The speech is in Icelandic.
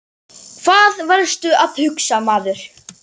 Hvað varstu að hugsa maður?